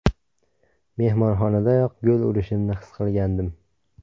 Mehmonxonadayoq gol urishimni his qilgandim.